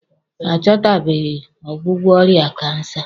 A chọtabeghi ọgwụgwọ ọrịa kansa.